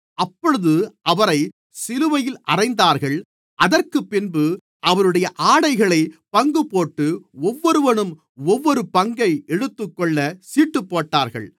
அப்பொழுது அவரை சிலுவையில் அறைந்தார்கள் அதற்குப்பின்பு அவருடைய ஆடைகளைப் பங்கு போட்டு ஒவ்வொருவனும் ஒவ்வொரு பங்கை எடுத்துக்கொள்ளச் சீட்டுப்போட்டார்கள்